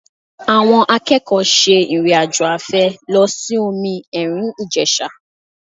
Àwọn akẹ́kọ̀ọ́ ṣe ìrìn-àjò afẹ́ lọ sí omi ẹ̀rìn Ìjẹ̀sà